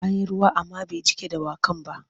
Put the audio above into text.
An yi ruwa amma bai jiƙa dawakan ba.